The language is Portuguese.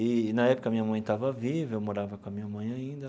E e, na época, minha mãe estava viva, eu morava com a minha mãe ainda.